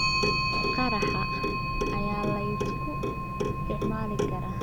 Qaraha ayaa la isku isticmaali karaa.